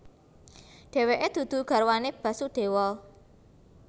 Dheweke dudu garwane Basudewa